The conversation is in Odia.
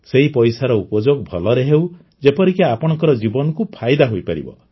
ସେହି ପଇସାର ଉପଯୋଗ ଭଲରେ ହେଉ ଯେପରିକି ଆପଣଙ୍କ ଜୀବନକୁ ଫାଇଦା ହୋଇପାରିବ